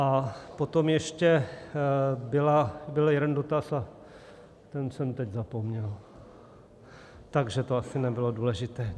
A potom ještě byl jeden dotaz a ten jsem teď zapomněl, takže to asi nebylo důležité.